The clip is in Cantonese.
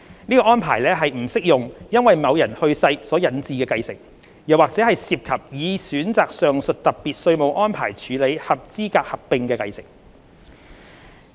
這項安排不適用於因某人去世所引致的繼承，或涉及已選擇上述特別稅務安排處理合資格合併的繼承。